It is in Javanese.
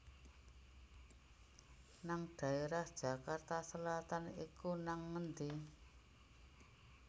nang daerah Jakarta Selatan iku nang endi?